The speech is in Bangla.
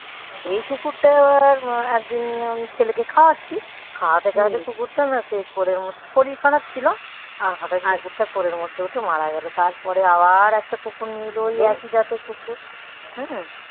এই কুকুরটা এবার একদিন ছেলেকে খাওয়াচ্ছি. খাওয়াতে খাওয়াতে কুকুরটা না সেই ঘোরের মধ্যে শরীর খারাপ ছিল. আর হঠাৎ কোলের মধ্যে উঠে মারা গেল. তারপরে আবার একটা কুকুর নিয়ে এল. ওই একই জাতের কুকুর